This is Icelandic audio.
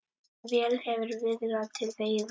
Vel hefur viðrað til veiða.